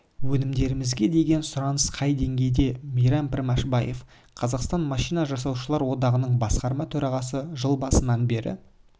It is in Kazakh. өнімдерімізге деген сұраныс қай деңгейде мейрам пішембаев қазақстан машина жасаушылар одағының басқарма төрағасы жыл басынан бері